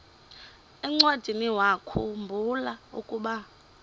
encwadiniwakhu mbula ukuba